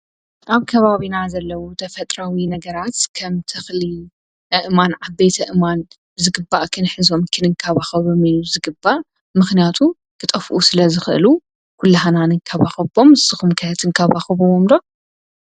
ኣብ ከባቢና ዘለዉ ተፈጥራዊ ነገራት ከም ትኽሊ እማን ዓቤት እማን ዝግባእክን ሕዞቦም ክንንካባኸበሚኑ ዝግባእ ምኽንያቱ ኽጠፍኡ ስለ ዝኽእሉ ኲላህናንንካባኸቦም ስኹምከ ትንካባኸቦዎምዶ።